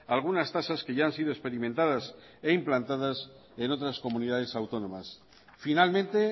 algunas tasas que ya han sido experimentadas e implantadas en otras comunidades autónomas finalmente